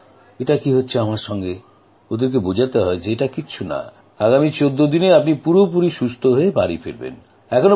ভাবেন এটা কী হচ্ছে আমার সঙ্গেওঁদের বোঝাতে হয় যে এটা কিছু না আগামী ১৪ দিনে আপনি পুরোপুরি সুস্থ হয়ে বাড়ি ফিরবেন